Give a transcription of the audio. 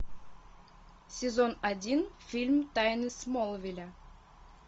сезон один фильм тайны смолвиля